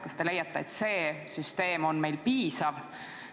Kas te leiate, et see süsteem on meil piisav?